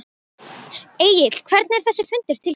Egill hvernig er þessi fundur til kominn?